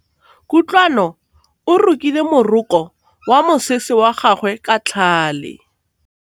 Kutlwanô o rokile morokô wa mosese wa gagwe ka tlhale.